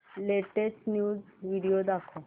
latest news video दाखव